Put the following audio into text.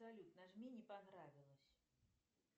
салют нажми не понравилось